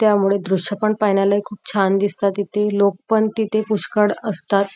त्यामुळे दृश पण पाहायला खुप छान दिसतात इथे लोक पण तिथे पुष्यकळ असतात.